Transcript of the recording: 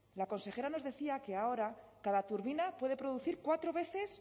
la consejera nos decía que ahora cada turbina puede producir cuatro veces